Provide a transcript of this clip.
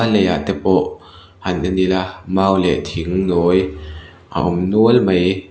a lei ah te pawh han en ila mau leh thing nawi a awm nual mai.